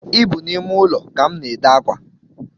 Ị bụ n’ime ụlọ ka m na-ede akwa